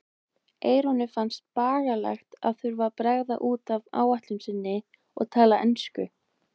Eyrúnu fannst bagalegt að þurfa að bregða út af áætlun sinni og tala ensku.